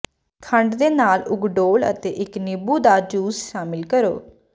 ਖੰਡ ਦੇ ਨਾਲ ਉਗ ਡੋਲ੍ਹ ਅਤੇ ਇੱਕ ਨਿੰਬੂ ਦਾ ਜੂਸ ਸ਼ਾਮਿਲ ਕਰੋ